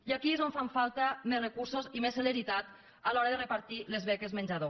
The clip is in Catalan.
i aquí és on fan falta més recursos i més celeritat a l’hora de repartir les beques menjador